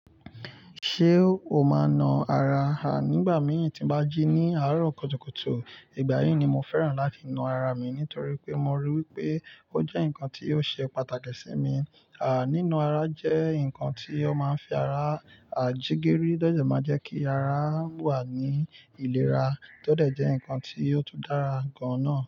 Ṣé o máa na ara rẹ? Nígbà mìíràn tí ń bá jí ní àárọ̀ kùtùkùtù, ìgbà yí ni mo fẹ́ràn láti na ara mi nítorí pé mo rí i wípé ó jẹ́ nǹkan tí ó ṣe pàtàkì sí mi. Nína ara jẹ́ nǹkan tí ó máa ń fi ara, jigiri to dẹ máa jẹ́ kí ara wà ní ìlera, to dẹ jẹ́ nǹkan tí ó tún dára gan-an náà.